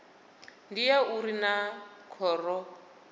ndi ya uri naa khoro